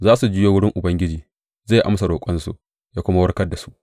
Za su juyo wurin Ubangiji, zai amsa roƙonsu ya kuma warkar da su.